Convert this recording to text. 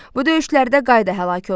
Bu döyüşlərdə qayda həlak oldu.